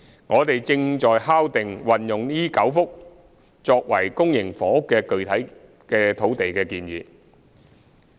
我們正在敲定將這9幅土地用作公營房屋發展的具體建議。